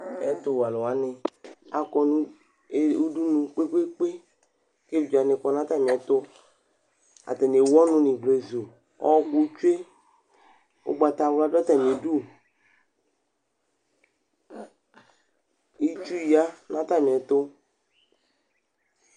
Ɛtuwɛ aluwani akɔ nu udunu kpekpekpe ku evidzewani kɔ nu atamiɛtu atani ewu ɔnu nu ivlezu ɔwɔku tsue ugbatawla du atami du Itsu ya nu atami ɛtu